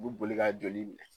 U bi boli ka joli